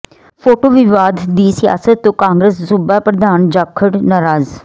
photo ਵਿਵਾਦ ਦੀ ਸਿਆਸਤ ਤੋਂ ਕਾਂਗਰਸ ਸੂਬਾ ਪ੍ਰਧਾਨ ਜਾਖੜ ਨਾਰਾਜ਼